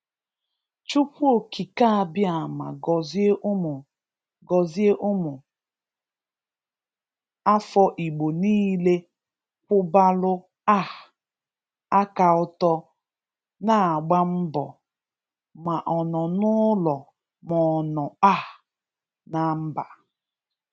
Chukwu okike abịama gọzie ụmụ gọzie ụmụ afọ igbo niile kwụbalụ um aka ọ́tọ̀ na-agba mbọ, ma ọ nọ n'ụlọ ma ọ nọ um na mba